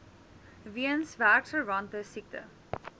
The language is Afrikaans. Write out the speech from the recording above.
weens werksverwante siekte